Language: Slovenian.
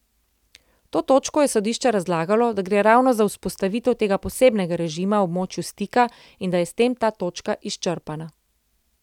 To točko je sodišče razlagalo, da gre ravno za vzpostavitev tega posebnega režima v območju stika in da je s tem ta točka izčrpana.